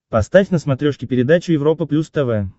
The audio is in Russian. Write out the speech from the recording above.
поставь на смотрешке передачу европа плюс тв